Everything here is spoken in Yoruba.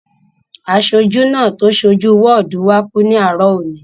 Aṣojú náà tó so jú wọ́ọ̀dù wá kú ní àárọ̀ òní